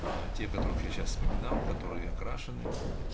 а те которые сейчас вспоминал которые окрашены